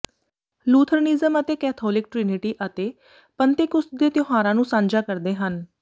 Lutheranism ਅਤੇ Catholic Trinity ਅਤੇ Pentecost ਦੇ ਤਿਉਹਾਰਾਂ ਨੂੰ ਸਾਂਝਾ ਕਰਦੇ ਹਨ